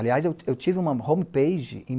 Aliás, eu eu tive uma homepage em